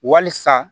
Wasa